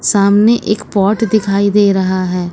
सामने एक पॉट दिखाई दे रहा है।